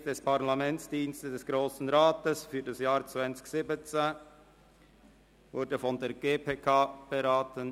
Der Tätigkeitsbericht der Parlamentsdienste wurde von der GPK beraten.